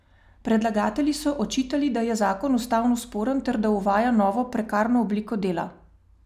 Predlagatelji so očitali, da je zakon ustavno sporen ter da uvaja novo prekarno obliko dela.